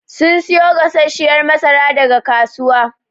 Sun siyo gasashshiyar masara daga kasuwa.